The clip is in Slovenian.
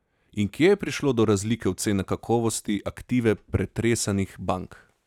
In kje je prišlo do razlike ocene kakovosti aktive pretresanih bank?